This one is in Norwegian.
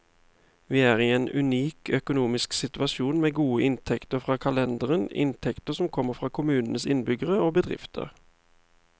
Vi er i en unik økonomisk situasjon, med gode inntekter fra kalenderen, inntekter som kommer fra kommunens innbyggere og bedrifter.